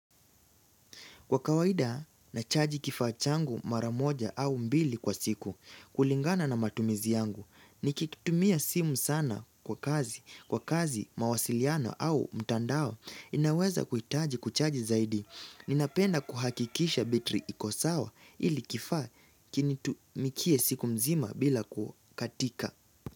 Kwa kawaida, nachaji kifaa changu mara moja au mbili kwa siku, kulingana na matumizi yangu. Nikitumia simu sana kwa kazi, kwa kazi, mawasiliano au mtandao, ninaweza kuhitaji kuchaji zaidi. Ninapenda kuhakikisha betri iko sawa ili kifaa kinitumikie siku mzima bila kukatika.